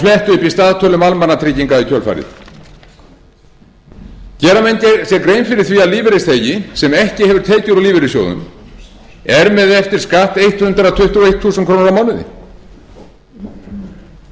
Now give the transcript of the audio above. í staðtölum almannatrygginga í kjölfarið gera menn sér grein fyrir því að lífeyrisþegi sem ekki hefur tekið úr lífeyrissjóðum er með eftir skatt hundrað tuttugu og eitt þúsund krónur á mánuði öryrkinn hundrað tuttugu og þrjú þúsund